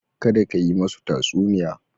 Kada ka yi masu tatsuniya.